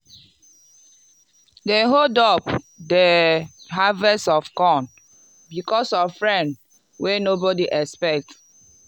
dem hold up di harvest of corn because of rain wey nobody expect.